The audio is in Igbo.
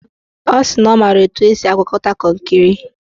Ọ sị na ọ mara etu esi agwakọta kọnkịrị